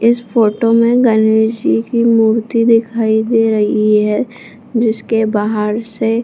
इस फोटो में गणेश जी की मूर्त्ति दिखाई दे रही है जिसके बाहर से --